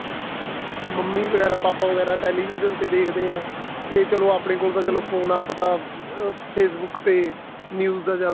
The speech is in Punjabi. ਮੰਮੀ ਵਗੈਰਾ ਪਾਪਾ ਵਗੈਰਾ television ਤੇ ਦੇਖਦੇ ਆ ਤੇ ਚਲੋ ਆਪਣੇ ਕੋਲ ਤਾਂ phone ਆਪਾਂ ਤਾਂ ਅਹ Facebook ਤੇ news ਜਿਆਦਾ